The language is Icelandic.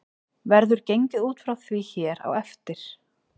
Verður gengið út frá því hér á eftir.